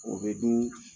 O bɛ dun